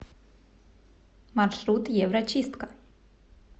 маршрут еврочистка